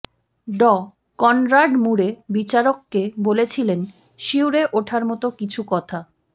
ডঃ Conrad Murray বিচারককে বলেছিলেন শিউরে ওঠার মতো কিছু কথা